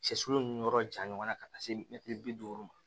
Cɛ sulu ni yɔrɔ ja ɲɔgɔnna ka taa se mɛtiri bi duuru ma